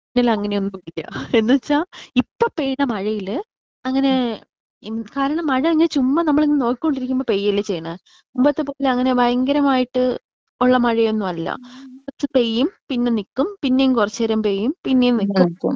ഇതിൽ അങ്ങനെ ഒന്നും ഇല്ല. എന്നുവെച്ചാ ഇപ്പോ പെയ്ത മഴയിൽ അങ്ങനെ കാരണം മഴ അങ്ങ് ചുമ്മാ നമ്മൾ നോക്കികൊണ്ടിരിക്കുമ്പോ പെയ്യലേ ചെയിണ്. മുമ്പത്തെ പോലെ അങ്ങനെ ഭയങ്കരമായിട്ട് ഒള്ള മഴയൊന്നും അല്ല. കുറച്ച് പേയും പിന്നെ നിക്കും പിന്നേം കൊറച്ചേരം പേയും പിന്നേം നിക്കും.